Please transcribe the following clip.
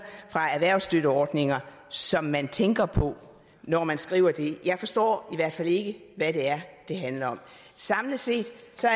fra erhvervsstøtteordninger som man tænker på når man skriver det jeg forstår i hvert fald ikke hvad det er det handler om samlet set